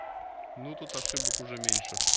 ну тут ошибок уже меньше